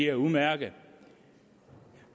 er udmærkede